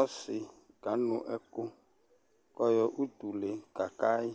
ɔsi kanu ɛku kuayo utu kakayi